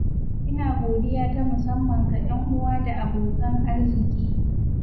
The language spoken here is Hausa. ina godiya ta musamman ga 'yan uwa da abokan arziki.